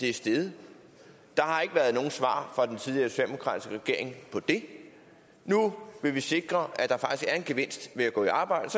er steget der har ikke været nogen svar fra den tidligere socialdemokratiske regering på det nu vil vi sikre at der faktisk er en gevinst ved at gå i arbejde